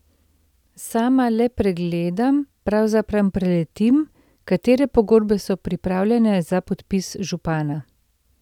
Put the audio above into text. Sama le pregledam, pravzaprav preletim, katere pogodbe so pripravljene za podpis župana.